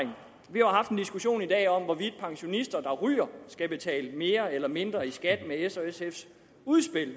har haft en diskussion i dag om hvorvidt pensionister der ryger skal betale mere eller mindre i skat med s og sfs udspil